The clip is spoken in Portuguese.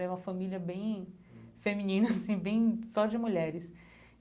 É uma família bem feminina, assim, bem só de mulheres.